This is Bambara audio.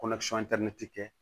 kɛ